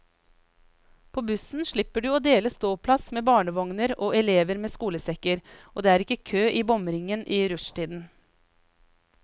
På bussen slipper du å dele ståplass med barnevogner og elever med skolesekker, og det er ikke kø i bomringen i rushtiden.